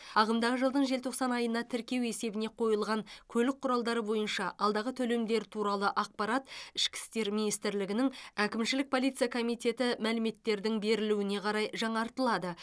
ағымдағы жылдың желтоқсан айына тіркеу есебіне қойылған көлік құралдары бойынша алдағы төлемдер туралы ақпарат ішкі істер министрлігінің әкімшілік полиция комитеті мәліметтердің берілуіне қарай жаңартылады